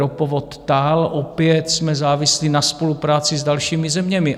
Ropovod TAL, opět jsme závislí na spolupráci s dalšími zeměmi.